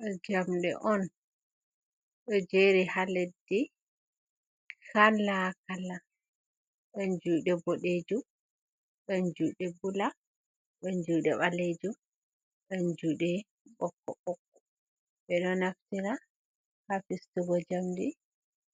Do jamde on do jeri ha leddi kala kala don jude bodejum don jude bula don jude balejum don jude bokoboko be do naftira ha fistugo jamdi,